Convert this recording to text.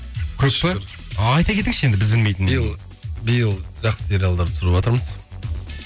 көп пе айта кетіңізші енді біз білмейтін нәрсені биыл биыл жақсы сериалдар түсіріватырмыз